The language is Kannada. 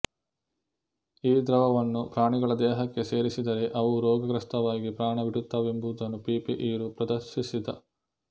ಈ ದ್ರವವನ್ನು ಪ್ರಾಣಿಗಳ ದೇಹಕ್ಕೆ ಸೇರಿಸಿದರೆ ಅವು ರೋಗಗ್ರಸ್ತವಾಗಿ ಪ್ರಾಣ ಬಿಡುತ್ತವೆಂಬುದನ್ನು ಪಿ ಪಿ ಇರೂ ಪ್ರದರ್ಶಿಸಿದ